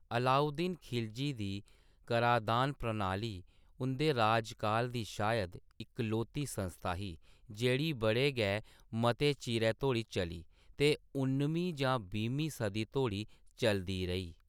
अलाउद्दीन खिलजी दी कराधान प्रणाली उं'दे राजकाल दी शायद इकलौती संस्था ही, जेह्‌ड़ी बड़े गै मते चिरै धोड़ी चली ते उन्नमीं जां बीह्मीं सदी धोड़ी चलदी रेही।